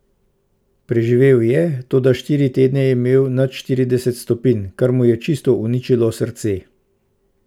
Preživel je, toda štiri tedne je imel nad štirideset stopinj, kar mu je čisto uničilo srce.